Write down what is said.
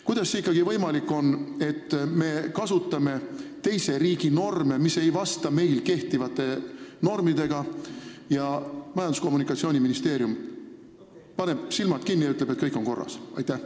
Kuidas see ikkagi võimalik on, et me kasutame teise riigi norme, mis ei vasta meil kehtivatele normidele, ning Majandus- ja Kommunikatsiooniministeerium paneb silmad kinni ja ütleb, et kõik on korras?